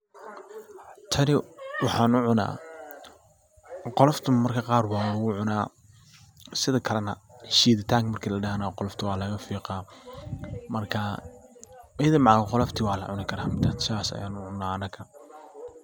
Tani waxaan u cuna qolofta marmarka qaar walagu cuna sidakala na shiiditanka marki ladahana qolofta waa laga fiiqa marka ayada macal qolofta waa lacuni kara sidas ayan u cuna anaka.